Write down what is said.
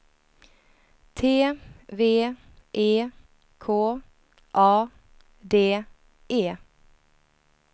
T V E K A D E